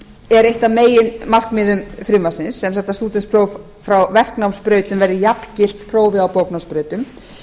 er eitt af meginmarkmiðum frumvarpsins sem þetta stúdentspróf frá verknámsbrautir verði jafngilt prófi á bóknámsbrautum